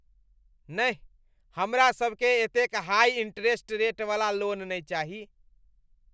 नहि! हमरा सबकेँ एतेक हाइ इन्टरेस्ट रेटवला लोन नहि चाही।